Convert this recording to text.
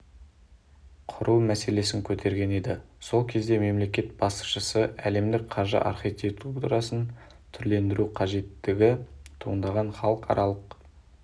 құру мәселесін көтерген еді сол кезде мемлекет басшысы әлемдік қаржы архитектурасын түрлендіру қажеттігі туындағанын халықаралық